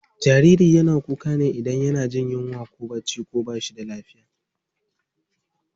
Jariri yana kuka ne idan yana jin yunwa ko bacci ko bashi da lafiya.